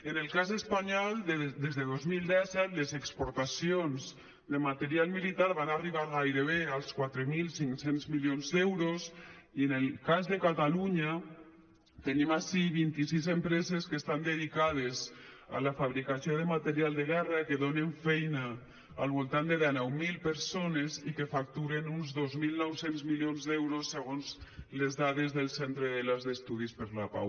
en el cas espanyol des de dos mil disset les exportacions de material militar van arribar gairebé als quatre mil cinc cents milions d’euros i en el cas de catalunya tenim ací vint i sis empreses que estan dedicades a la fabricació de material de guerra que donen feina al voltant de denou mil persones i que facturen uns dos mil nou cents milions d’euros segons les dades del centre delàs d’estudis per la pau